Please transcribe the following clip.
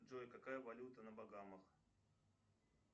джой какая валюта на багамах